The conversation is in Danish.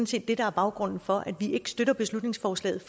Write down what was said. set det der er baggrunden for at vi ikke støtter beslutningsforslaget